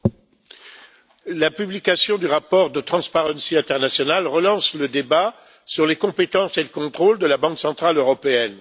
Monsieur le Président, la publication du rapport de Transparency International relance le débat sur les compétences et le contrôle de la Banque centrale européenne.